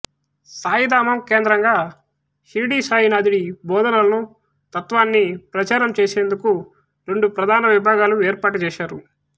సాయిధామం కేంద్రంగా షిర్డీసాయినాథుడి బోధనలను తత్త్వాన్ని ప్రచారం చేసేందుకు రెండు ప్రధాన విభాగాలు ఏర్పాటు చేశారు